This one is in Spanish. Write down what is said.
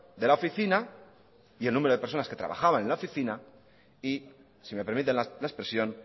de la oficina y el número de personas que trabajaban en la oficina y si me permiten la expresión